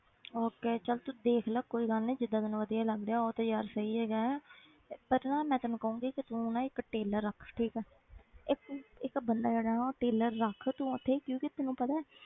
Okay ਚੱਲ ਤੂੰ ਦੇਖ ਲੈ ਕੋਈ ਗੱਲ ਨੀ ਜਿੱਦਾਂ ਤੈਨੂੰ ਵਧੀਆ ਲੱਗਦਾ ਆ ਉਹ ਤੇ ਯਾਰ ਸਹੀ ਹੈਗਾ ਹੈ ਤੇ ਪਰ ਨਾ ਮੈਂ ਤੈਨੂੰ ਕਹਾਂਗੀ ਕਿ ਤੂੰ ਨਾ ਇੱਕ tailor ਰੱਖ ਠੀਕ ਹੈ ਇੱਕ ਇੱਕ ਬੰਦਾ ਜਿਹੜਾ ਨਾ ਉਹ tailor ਰੱਖ ਤੂੰ ਉੱਥੇ ਕਿਉਂਕਿ ਤੈਨੂੰ ਪਤਾ ਹੈ